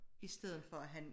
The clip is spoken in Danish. I stedet for at han